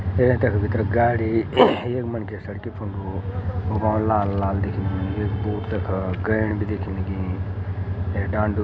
ए तख भितर गाडी एक यख मनखी सड़कि फण्डो बौल लाल लाल दिखेनी एक बूट तखा गैण भी दिखे लगीं ऐ डांडू --